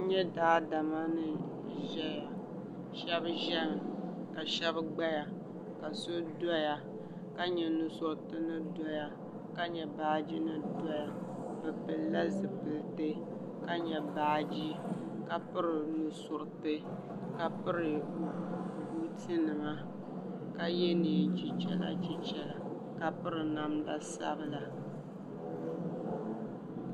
N yɛla daadama ni zɛya shɛba zɛmi ka shɛba gbaya ka so doya ka yɛ ni auriti ni doya ka yɛ baaji mi doya bi puli la zipiliti ka yɛ baaji ka pitɛri o nu suriti ka piri buuti nima ka yiɛ nɛɛn chichɛra chichɛra ka piri namda sabila.